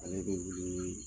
Ale bɛ wuli